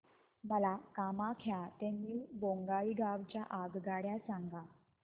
मला कामाख्या ते न्यू बोंगाईगाव च्या आगगाड्या सांगा